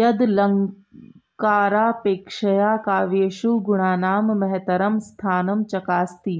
यदलङ्कारापेक्षया काव्येषु गुणानां महतरं स्थानं चकास्ति